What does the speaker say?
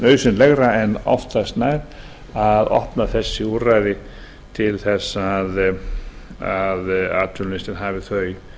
nauðsynlegra en oftast nær að opna þessi úrræði til þess að atvinnulausir hafi þau